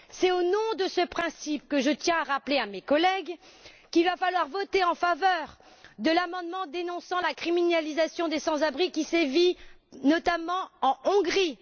C'est au nom de ce principe que je tiens à rappeler à mes collègues qu'il va falloir voter en faveur de l'amendement dénonçant la criminalisation des sans abri, qui sévit notamment en Hongrie.